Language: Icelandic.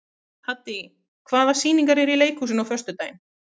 Haddý, hvaða sýningar eru í leikhúsinu á föstudaginn?